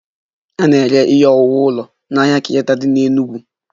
A na-ere ihe owuwu ụlọ n'ahịa Kenyatta dị n'Enugwu